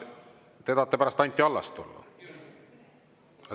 Te tahate pärast Anti Allast tulla?